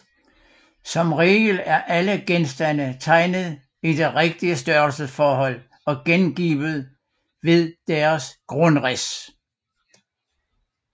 Som regel er alle genstande tegnet i det rigtige størrelsesforhold og gengivet ved deres grundrids